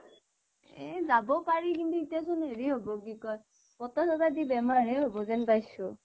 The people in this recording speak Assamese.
এ যাব পাৰি কিন্তু এতিয়া চোন হেৰী হব কি কয় বতাহ চতাহ দি বেমাৰ হে হব যেন পাইছোঁ